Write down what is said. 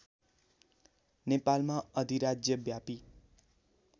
नेपालमा अधिराज्य व्यापी